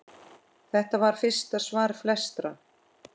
Þetta var fyrsta svar flestra?